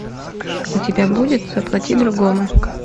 у тебя будет заплати другому